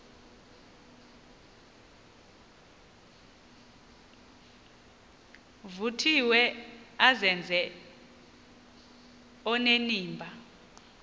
vuthiwe azenze onenimba